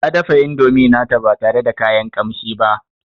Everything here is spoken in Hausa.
Tana dafa indomi nata ba tare da kayan kamshi ba